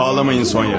Ağlamayın Sonya.